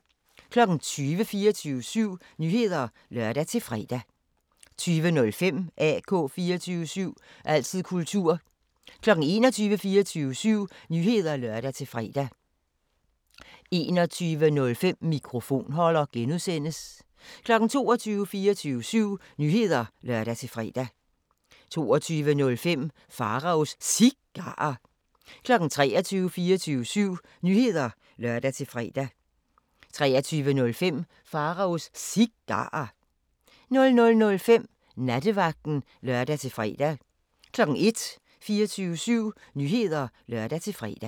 20:00: 24syv Nyheder (lør-fre) 20:05: AK 24syv – altid kultur 21:00: 24syv Nyheder (lør-fre) 21:05: Mikrofonholder (G) 22:00: 24syv Nyheder (lør-fre) 22:05: Pharaos Cigarer 23:00: 24syv Nyheder (lør-fre) 23:05: Pharaos Cigarer 00:05: Nattevagten (lør-fre) 01:00: 24syv Nyheder (lør-fre)